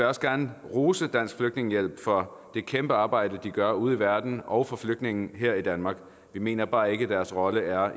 også gerne rose dansk flygtningehjælp for det kæmpe arbejde de gør ude i verden og for flygtninge her i danmark vi mener bare ikke at deres rolle er at